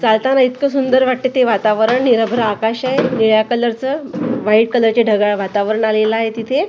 चालताना इतक सुंदर वाटतं ते वातावरण निरभ्र आकाश आहे निळ्या कलरचं व्हाईट कलरचे ढगाळ वातावरण झालेलं आहे तिथे.